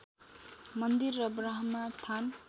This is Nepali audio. मन्दिर र ब्रह्मा थान